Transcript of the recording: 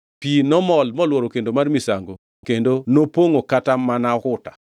Pi nomol molworo kendo mar misango kendo nopongʼo kata mana okuta.